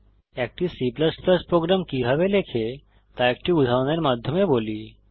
একটি C program কিভাবে লেখে তা একটি উদাহরণের মাধ্যমে বলি